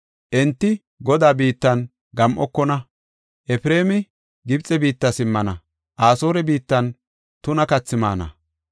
Enti Godaa biittan gam7okona. Efreemi Gibxe biitta simmana; Asoore biittan tuna kathi maana.